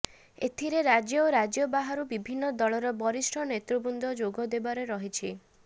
ଏଥିରେ ରାଜ୍ୟ ଓ ରାଜ୍ୟ ବାହାରୁ ବିଭିନ୍ନ ଦଳର ବରିଷ୍ଠ ନେତୃବୃନ୍ଦ ଯୋଗ ଦେବାର ରହିଛି